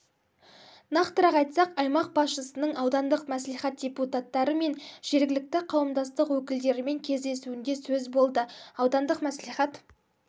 нақтырақ айтсақ аймақ басшысының аудандық мәслихат депутаттары мен жергілікті қауымдастық өкілдерімен кездесуінде сөз болды аудандық мәслихат